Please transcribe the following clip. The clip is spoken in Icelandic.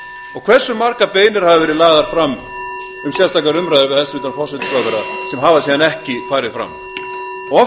og hversu margar beiðnir hafa verið lagðar fram um sérstakar umræður við hæstvirtan forsætisráðherra sem hafa síðan ekki farið fram af